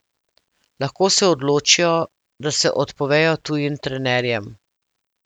Lahko se odločijo, da se odpovejo tujim trenerjem.